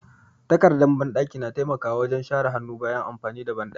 Takardar banɗaki na taimaka wajen share hannu bayan amfani da banɗaki.